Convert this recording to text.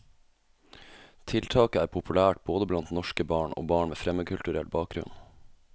Tiltaket er populært både blant norske barn og barn med fremmedkulturell bakgrunn.